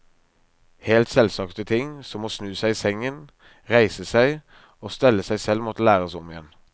Helt selvsagte ting, som å snu seg i sengen, reise seg, og stelle seg selv måtte læres om igjen.